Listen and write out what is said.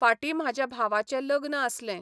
फाटीं म्हाज्या भावाचें लग्न आसलें.